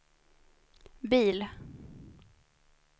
bil